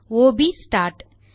ஒ ப் ஸ்டார்ட்